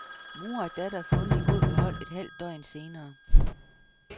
Mor og datter er fundet i god behold et halvt døgn senere.